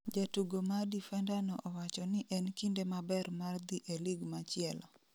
Jatugo ma difenda no owacho ni en kinde maber mar dhi e lig machielo